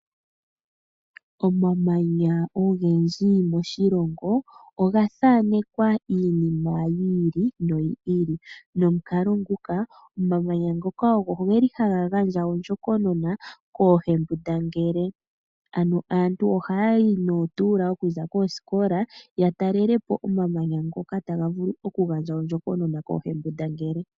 Omamanya ogendji moshilongo oga thaanekwa iinima yi ili noyi ili, nomukalo nguka omamanya ngoka ogo geli haga gandja ondjokonona kooohembundangele. Ano aantu ohayayi nootuula okuza koosikola, ya talelepo omamanya ngoka taga vulu okugandja ondjokonona kooohembundangele.